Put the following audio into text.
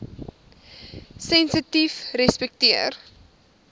sensitiefrespekteer